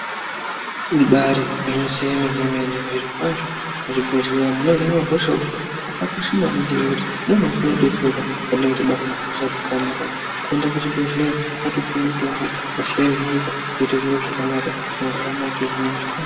Ibari gwinyiso yemene mene zvirokwazvo muzvibhedhlera munohinwa hosha umo makakosha maningi nekuti ndioo mwatinodetserwa patinenge tabatwa nehosha dzakaomarara kuenda kuchibhedhlera wotopuwe mutombo hosha yohinika zvoite zviro zvakanaka mworarama upenyu hwenyu zvakanaka.